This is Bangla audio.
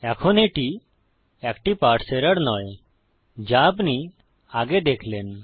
এখন এটি একটি পারসে এরর নয় যা আপনি আগে দেখলেন